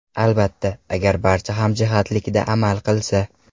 Albatta, agar barcha hamjihatlikda amal qilsa.